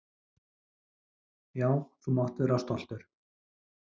Já, þú mátt vera stoltur.